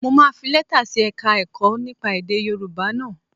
Mo máa fi lẹ́tà sí Ẹ̀ka-ẹ̀kọ́ nípa èdè Yorùbá náà